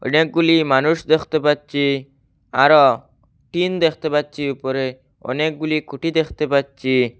অনেকগুলি মানুষ দেখতে পাচ্ছি আরো টিন দেখতে পাচ্ছি উপরে অনেকগুলি খুঁটি দেখতে পাচ্ছি।